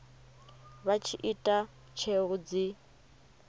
vha tshi ita tsheo dzi